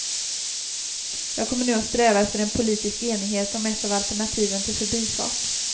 Jag kommer nu att sträva efter en politisk enighet om ett av alternativen till förbifart.